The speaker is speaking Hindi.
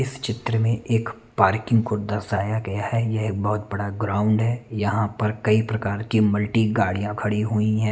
इस चित्र में एक पार्किंग को दर्शाया गया है यह बहोत बड़ा ग्राउंड है यहाँ पर कई प्रकार की मल्टी गाड़िया खड़ी हुई है।